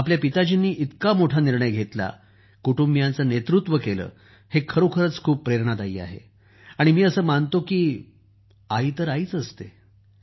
आपल्या पिताजींनी इतका मोठा निर्णय घेतला कुटुबींयांचं नेतृत्व केलं हे खरोखरच खूप प्रेरणादायक आहे आणि मी असं मानतो की आई तर आईच असते